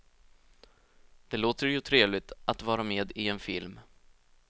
Det låter ju trevligt, att vara med i en film.